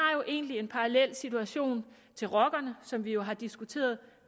egentlig en parallel situation til rockerne som vi jo har diskuteret